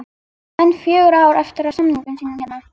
Hann á enn fjögur ár eftir af samningi sínum hérna